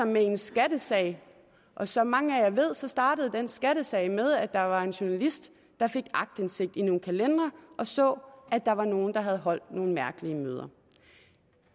med i en skattesag og som mange her ved startede den skattesag med at der var en journalist der fik aktindsigt i nogle kalendere og så at der var nogle der havde holdt nogle mærkelige møder